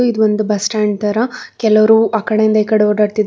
ಇದು ಒಂದು bus stand ತರ ಕೆಲವರು ಆಕಡೆಯಿಂದ ಈ ಕಡೆ ಓಡಾಡುತ್ತಿ--